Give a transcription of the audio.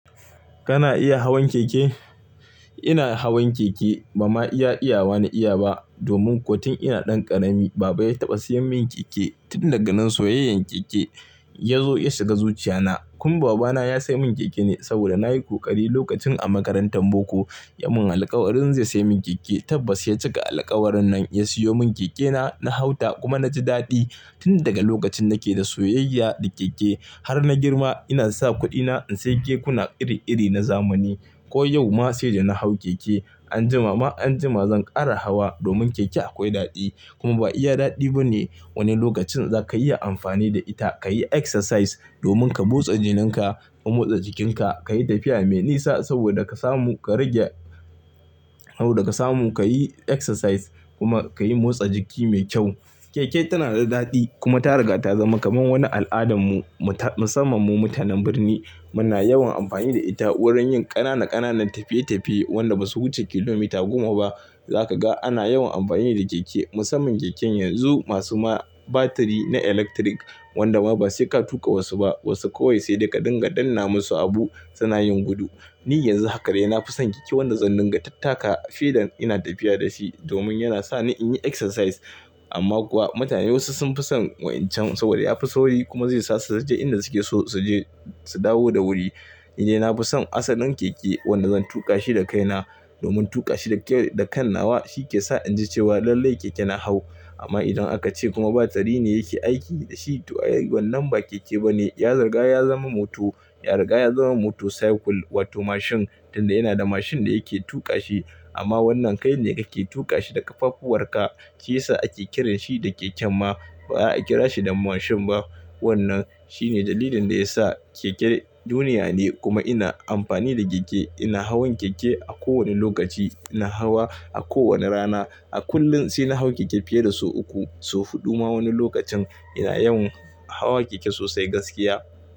Kana iya hawan keke? Ina hawan keke. Ba ma iya iyawa na iya ba domin ko tun ina ɗan ƙarami baba ya taɓa sayan min keke tun daga nan soyayyan keke ya zo ya shiga zuchiya na. Kun babana ya sai min keke ne saboda nayi ƙoƙari lokacin a makarantar boko. Ya mun alkawarin zai sai min keke. Tabba sai cika alkawarin nan ya siyo mun keke na. Na hau ta kuma na ji daɗi tun daga lokacin nake da soyayya da keke. Har na girma ina sa kuɗina in sai kekuna iri-iri na zamani. Ko yau ma sai da na hau keke. Anjima ma anjima zan ƙara hawa domin keke akwai daɗi. Kuma ba iya daɗi bane wani lokacin za ka iya amfani da ita ka yi exercise domin ka motsa jinin ka ka motsa jikin ka. Ka yi tafiya me nisa saboda ka samu ka rage, saboda ka samu ka yi exercise kuma ka yi motsa jiki me kyau. Keke tana da daɗi kuma ta riga ta zama kamar wani al'adan mu, musamman mu mutanen birni. Muna yawan amfani da ita wurin yin ƙanana ƙananan tafiye-tafiye wanda ba su wuce kilomita goma ba. Za ka ga ana yawan amfani da keke musamman keken yanzu masu ma batiri na eletirik wanda ma ba sai ka tuƙa wasu ba. Wasu kawai sai da ka dinga danna masu abu suna yin gudu. Ni yanzu haka daia na fison keke wanda zan dinga tattaka filin ina tafiya da shi domin yana sa ni in yi exercise. Amma kuwa mutane wasu sun fi son wancan saboda ya fi sauri kuma zai sa su su je inda su ke so su je, su dawo da wuri. Ni dai na fi son asalin keke wanda zan tuƙa shi da kaina domin tuƙa shi da kan nawa shi ke sa in ji cewa lallai keke na hau. Amma idan aka ce kuma batiri ne yake aiki da shi to ai wannan ba keke bane ya riga ya zama mota, ya riga ya zama motorcycle wato mashin tun da yana da mashin da yake tuƙa shi. Amma wannan kai ne ka ke tuƙa shi da ƙafafuwar ka shiyasa ake kiran shi da keke ma ba a kira shi da mashin ba. Wannan shine dalilin da ya sa keke duniya ne kuma ina amfani da keke. Ina hawan keke a kowane lokaci. Ina hawa a kowane rana. A kullum sai na hau keke fiye da sau uku, sau huɗu ma wani lokacin. Ina yawan hawa keke sosai gaskiya.